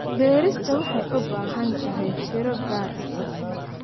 Beerista waxay u baahan tahay fiiro gaar ah.